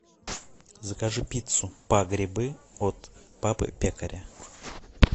закажи пиццу по грибы от папы пекаря